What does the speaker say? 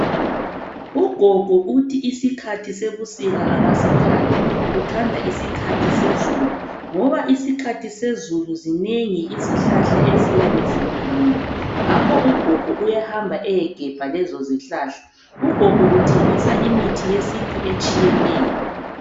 Ugogo uthi isikhathi sebusika akasithandi, uthanda isikhathi sezulu ngoba isikhathi sezulu zinengi izihlahla eziyabe zimilile ngakho Ugogo uyahamba eyegebha lezozihlahla. Ugogo uthengisa imithi yesintu etshiyeneyo.